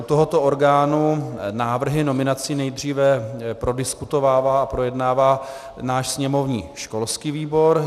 U tohoto orgánu návrhy nominací nejdříve prodiskutovává a projednává náš sněmovní školský výbor.